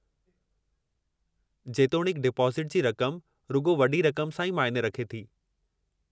जेतोणीकि डिपाज़िटु जी रक़म रुॻो वॾी रक़म सां ई मायने रखे थी।